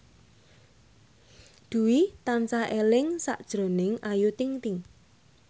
Dwi tansah eling sakjroning Ayu Ting ting